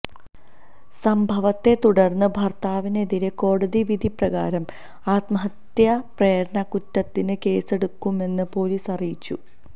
സംഭവത്തെ തുടര്ന്ന് ഭര്ത്താവിനെതിരെ കോടതി വിധി പ്രകാരം ആത്മഹത്യ പ്രേരണക്കുറ്റത്തിന് കേസെടുക്കുമെന്ന് പൊലീസ് അറിയിച്ചു